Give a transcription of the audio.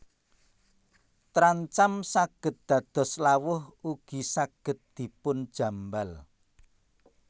Trancam saged dados lawuh ugi saged dipun jambal